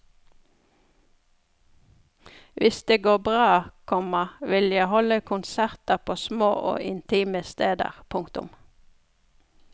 Hvis det går bra, komma vil jeg holde konserter på små og intime steder. punktum